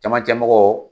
Camancɛ mɔgɔw